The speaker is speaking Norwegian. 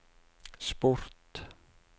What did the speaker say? sport